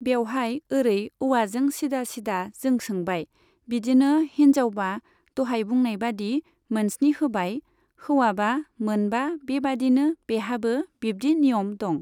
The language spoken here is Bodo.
बेवहाय ओरै औवाजों सिदा सिदा जों सोंबाय, बिदिनो हिन्जावबा दहाय बुंनाय बादि मोनस्नि होबाय, हौवाबा मोनबा बेबायदिनो बेहाबो बिब्दि नियम दं।